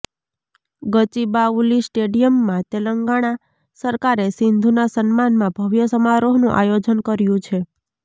ગચીબાઉલી સ્ટેડિયમમાં તેલંગાણા સરકારે સિંધુના સન્માનમાં ભવ્ય સમારોહનું આયોજન કર્યું છે